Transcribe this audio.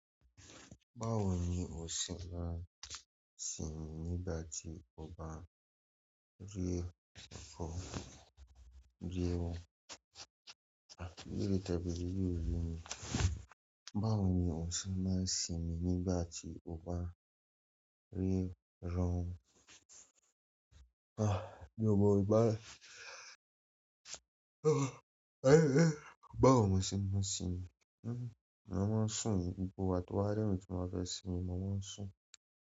Báwo ni ò ń ṣe máa ń sinmi nígbà tí ó bá ti rẹ̀ ọ́? Ìbéèrè tẹ́ẹ bèèrè yìí ò yé mi. Báwo ni o ṣe máa ń sinmi nígbà tí ó bá rẹ̀ ọ́? Bí mo bá báwo mo ṣe máa sinmi, mo máa ń sùn ni, gbogbo ìgbà tó bá rẹ̀ mí tí mo bá fẹ́ sinmi, mo máa ń sùn.